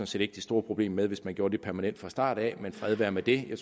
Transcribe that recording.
set ikke de store problemer med det hvis vi gjorde det permanent fra starten men fred være med det jeg